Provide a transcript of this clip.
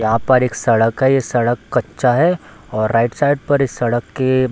यहाँ पर एक सड़क है ये सड़क कच्चा है और राइट साइड पर इस सड़क के --